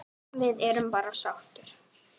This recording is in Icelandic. Við erum bara sáttir.